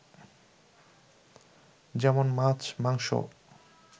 যেমন মাছ, মাংস